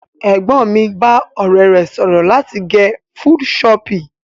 Ẹ̀gbọ́n mi bá ọ̀rẹ́ rẹ̀ sọ̀rọ̀ láti gẹ full choppy.